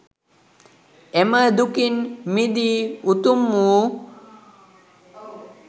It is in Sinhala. එම දුකින් මිදී උතුම් වූ